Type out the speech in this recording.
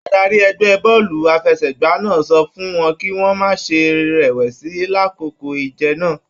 Adarí ẹgbẹ bọọlu àfẹ́sẹ̀gbà náà sọ fún wọn kì wọn má ṣe rẹwẹsi l'akoko ìje náà.